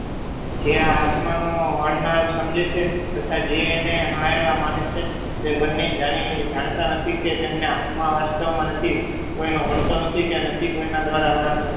જે આ આત્માનો હળનળ સમજે છે તથા જે એને હલાયેલા માને છે તે બંને જાણે જાણતા નથી કે તેમને આત્મવાસ્તસવમાં નથી કોઈનો હળતો નથી કે કે નથી કોયના દ્રારા હણાતો નથી